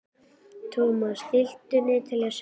Thomas, stilltu niðurteljara á sextíu og eina mínútur.